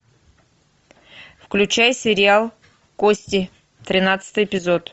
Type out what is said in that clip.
включай сериал кости тринадцатый эпизод